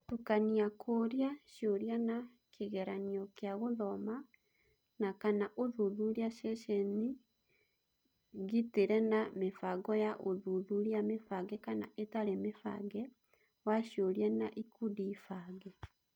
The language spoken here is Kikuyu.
Gũtukania kũũria ciũria na kĩgeranio kia gũthoma na / kana ũthuthuria ceceninĩ ngĩtĩre na mĩbango ya ũthuthuria mĩbange kana ĩtarĩ mĩbange wa ciũria na ikundi bange.